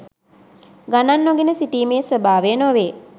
ගණන් නොගෙන සිටීමේ ස්වභාවය නොවේ.